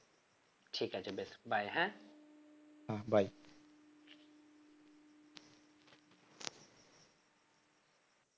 ঠিক আছে বেশ bye হ্যাঁ।